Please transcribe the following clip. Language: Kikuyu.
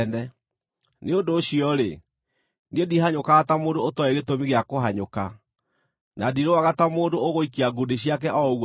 Nĩ ũndũ ũcio-rĩ, niĩ ndihanyũkaga ta mũndũ ũtooĩ gĩtũmi gĩa kũhanyũka; na ndirũaga ta mũndũ ũgũikia ngundi ciake o ũguo tũhũ.